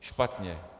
Špatně.